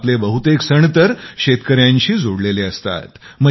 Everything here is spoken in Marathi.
आपले बहुतेक सण तर शेतकऱ्यांशी जोडलेले असतातात